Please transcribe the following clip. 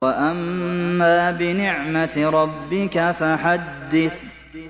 وَأَمَّا بِنِعْمَةِ رَبِّكَ فَحَدِّثْ